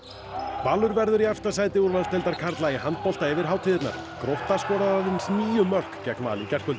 Valur verður í efsta sæti úrvalsdeildar karla í handbolta yfir hátíðirnar grótta skoraði aðeins níu mörk gegn Val í gærkvöldi